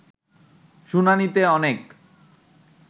শুনানিতে অনেক